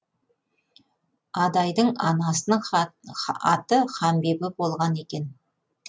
адайдың анасының аты ханбибі болған екен